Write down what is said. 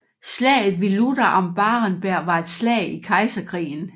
Slaget ved Lutter am Barenberg var et slag i Kejserkrigen